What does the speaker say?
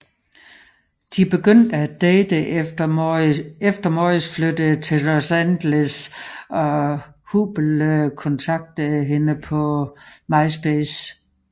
De begyndte at date efter Morris flyttede til Los Angeles og Hubbell kontaktede hende på Myspace